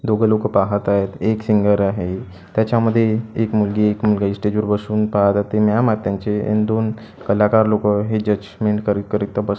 दोघं लोकं पाहत आहेत एक सिंगर आहे त्याच्यामध्ये एक मुलगी एक मुलगा इस्टेजवर बसून दोन कलाकार लोकं हे जजमेंट करीत करीत बस--